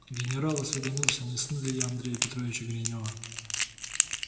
генерал осведомился не сын ли я андрея петровича гринёва